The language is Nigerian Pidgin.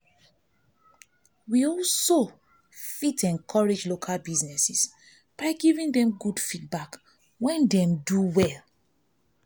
we fit encourage local business by giving dem good feedback when dem no dey do well